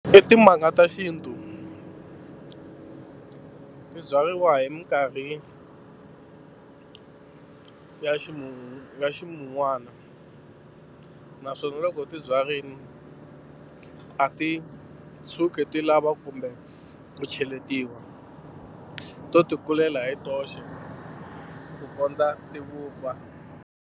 I timanga ta xintu, ti byariwa hi mikarhi ya ximumu ya ximun'wana naswona loko u ti byarile a ti tshuki ti lava kumbe ku cheletiwa to tikulela hi toxe ku kondza ti vupfa.